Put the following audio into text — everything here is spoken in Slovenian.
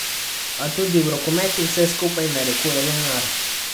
A tudi v rokometu vse skupaj narekuje denar.